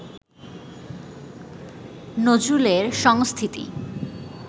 নজরুলের সংস্থিতি